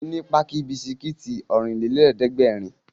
Fún mi ní páàkì bisikítì Ọ̀rìnlélẹ̀ẹ́dẹ́gbèrin!